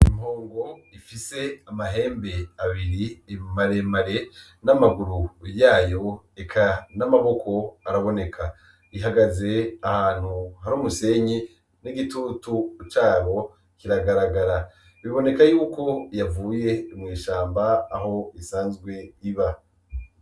Impungu ifise amahembe abiri imaremare n'amaguru yayo eka n'amaboko araboneka ihagaze ahantu hari umusenyi n'igitutu cabo kiragaragara biboneka yuko yavuye imwishamba aho isanzwe iba.